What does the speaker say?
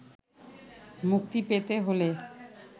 মুক্তি পেতে হলে